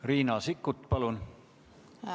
Riina Sikkut, palun!